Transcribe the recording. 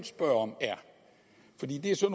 spørger om er fordi det så